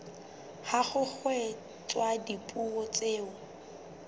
ha ho kgethwa dipuo tseo